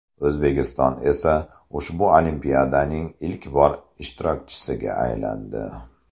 O‘zbekiston esa ushbu olimpiadaning ilk bor ishtirokchisiga aylandi.